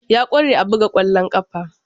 Ya kware a buga kwallon kafa.